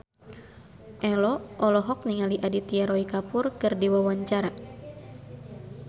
Ello olohok ningali Aditya Roy Kapoor keur diwawancara